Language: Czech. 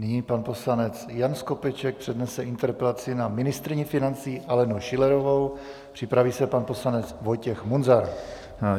Nyní pan poslanec Jan Skopeček přednese interpelaci na ministryni financí Alenu Schillerovou, připraví se pan poslanec Vojtěch Munzar.